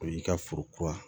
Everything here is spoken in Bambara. O y'i ka foro kura